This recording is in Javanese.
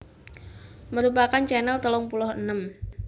merupakan channel telung puluh enem